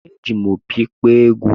Eji m opi kpọọ egwú.